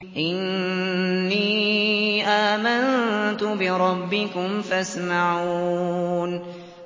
إِنِّي آمَنتُ بِرَبِّكُمْ فَاسْمَعُونِ